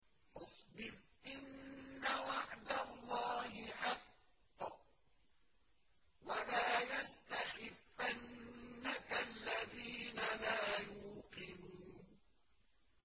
فَاصْبِرْ إِنَّ وَعْدَ اللَّهِ حَقٌّ ۖ وَلَا يَسْتَخِفَّنَّكَ الَّذِينَ لَا يُوقِنُونَ